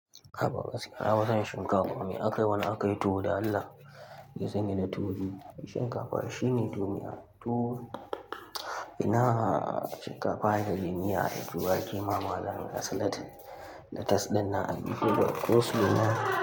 A ba wasu, aban shinkafa. Me aka yi? Wane aka yi tuwo da Allah? Ya zama da tuwo. Shinkafa shine duniya. Tuwo, ina shinkafa ne duniya, tuwo ake yi ma malam ga salad. Latas ɗin na aiki ga koslo duniya.